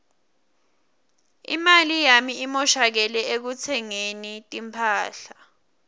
imali yami imoshakele ekutsengeni timphahla